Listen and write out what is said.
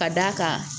Ka d'a kan